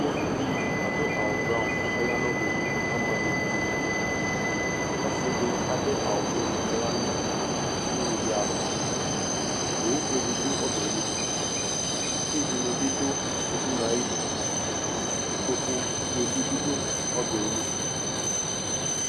Uvi dɩ adʋ awʋ brawɔn kʋ ɔya nʋ ɔbɛli kʋ ama evidze nʋ idu Ɔsɩ dɩ adʋ awʋ piŋk kʋ ɔya nʋ udunu dɩ alɔ Owufue dɩ dʋ ɔbɛ yɛ li Itsu dɩnɩ bɩ dʋ udunu yɛ ayɩdu Ikpokufue dɩ bɩ dʋ ɔbɛ yɛ li